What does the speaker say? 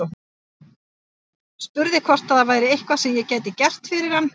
Spurði hvort það væri eitthvað sem ég gæti gert fyrir hann.